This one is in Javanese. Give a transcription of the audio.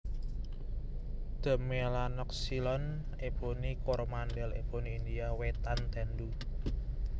D melanoxylon Eboni Koromandel eboni India wétan tendu